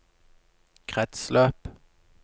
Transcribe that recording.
kretsløp